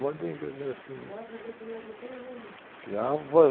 assim. ela fazia comida para todo mundo?)